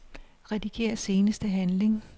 Rediger seneste handling.